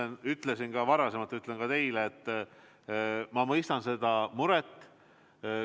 Ma ütlesin varem ja ütlen ka teile, et ma mõistan seda muret.